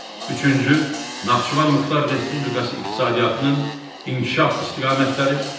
Üçüncü Naxçıvan Muxtar Respublikası iqtisadiyyatının inkişaf istiqamətləri.